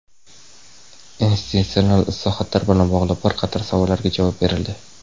institutsional islohotlar bilan bog‘liq bir qator savollariga javob berildi.